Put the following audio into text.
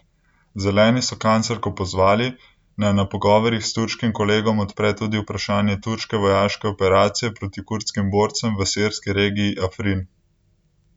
Zeleni so kanclerko pozvali, naj na pogovorih s turškim kolegom odpre tudi vprašanje turške vojaške operacije proti kurdskim borcem v sirski regiji Afrin.